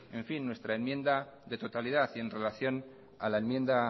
nuestra enmienda de totalidad en relación a la enmienda